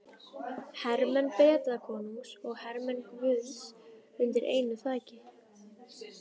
Hermenn Bretakonungs og hermenn guðs undir einu þaki.